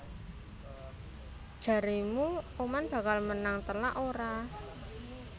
Jaremu Oman bakal menang telak ora?